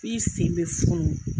I sen bɛ funu